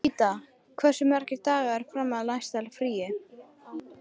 Ríta, hversu margir dagar fram að næsta fríi?